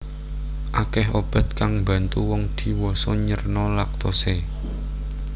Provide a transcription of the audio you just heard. Akèh obat kang mbantu wong dhiwasa nyerna laktose